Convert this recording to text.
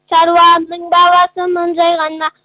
шаруаның баласымын жай ғана